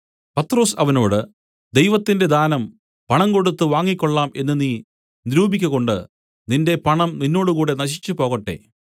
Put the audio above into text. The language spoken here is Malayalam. പത്രൊസ് അവനോട് ദൈവത്തിന്റെ ദാനം പണം കൊടുത്ത് വാങ്ങിക്കൊള്ളാം എന്ന് നീ നിരൂപിക്കകൊണ്ട് നിന്റെ പണം നിന്നോടുകൂടെ നശിച്ചുപോകട്ടെ